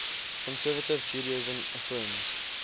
conservative judaism affirms